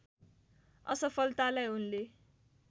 असफलतालाई उनले